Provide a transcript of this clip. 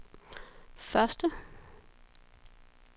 første